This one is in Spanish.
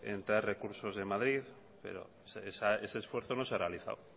en traer recursos de madrid pero ese esfuerzo no se ha realizado